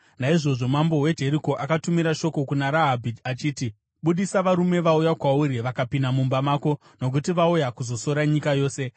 Naizvozvo mambo weJeriko akatumira shoko kuna Rahabhi achiti, “Budisa varume vauya kwauri vakapinda mumba mako, nokuti vauya kuzosora nyika yose.”